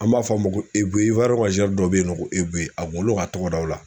An b'a fɔ a ma ko Ebuye ka dɔ bɛ yen nɔ ko Ebuye a kun kɛlen don ka tɔgɔ da o la